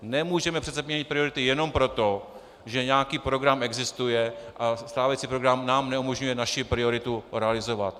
Nemůžeme přece měnit priority jenom proto, že nějaký program existuje a stávající program nám neumožňuje naši prioritu realizovat.